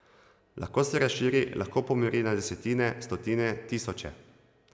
Lahko se razširi, lahko pomori na desetine, stotine, tisoče...